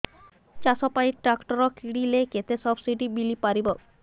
ଚାଷ ପାଇଁ ଟ୍ରାକ୍ଟର କିଣିଲେ କେତେ ସବ୍ସିଡି ମିଳିପାରିବ